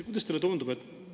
Kuidas teile tundub?